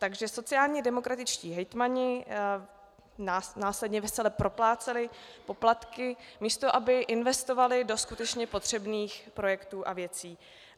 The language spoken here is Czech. Takže sociálně demokratičtí hejtmani následně vesele propláceli poplatky, místo aby investovali do skutečně potřebných projektů a věcí.